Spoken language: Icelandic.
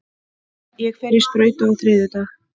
Ég fer í sprautu á þriðjudag.